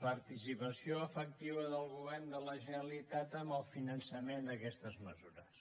participació efectiva del govern de la generalitat en el finançament d’aquestes mesures